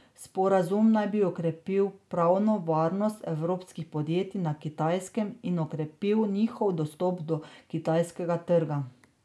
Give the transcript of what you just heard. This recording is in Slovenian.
Sporazum naj bi okrepil pravno varnost evropskih podjetij na Kitajskem in okrepil njihov dostop do kitajskega trga.